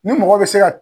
Ni mɔgɔ bɛ se ka